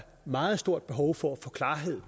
meget stort behov for at få klarhed